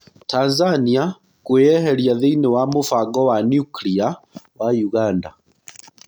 Tanzania kwĩeheria thĩinĩĩ wa mũbango wa nucria wa ũganda.